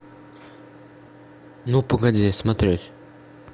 ну погоди смотреть